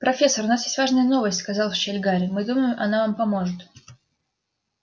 профессор у нас есть важная новость сказал в щель гарри мы думаем она вам поможет